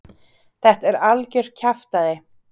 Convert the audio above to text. Þetta er algjört kjaftæði?